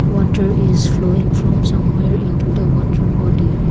water is flowing from somewhere into the water body.